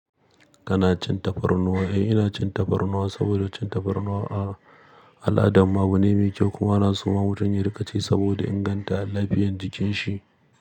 Kana cin tafarnuwa? Eh ina cin tafarnuwa saboda cin tafarnuwa ah al'adanmu abu ne mai kyau kuma a na soma mutun ya rika ci saboda inganta alafiyan jikin shi.